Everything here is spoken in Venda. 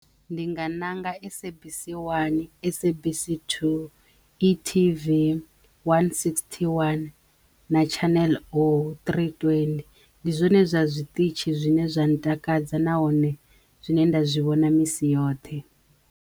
Ndi nga ṋanga SABC 1, SABC 2, e-TV, one sixty-one na Channel oh three twenty. Ndi zwone zwa zwiṱitshi zwine zwa ntakadza nahone zwine nda zwi vhona misi yoṱhe hone.